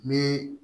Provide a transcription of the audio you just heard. Ni